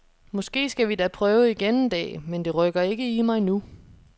Måske skal vi da prøve igen en dag, men det rykker ikke i mig nu.